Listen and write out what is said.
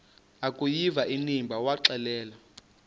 akuyiva inimba waxelela